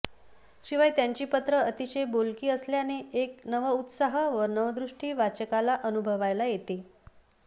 शिवाय त्यांची पत्रं अतिशय बोलकी असल्याने एक नवउत्साह व नवदृष्टी वाचकाला अनुभवायला येते